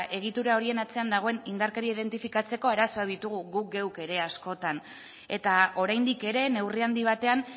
egitura horien atzean dagoen indarkeria identifikatzeko arazoak ditugu guk geuk ere askotan eta oraindik ere neurri handi batean